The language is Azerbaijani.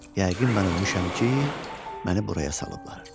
Yəqin mən ölmüşəm ki, məni buraya salıblar.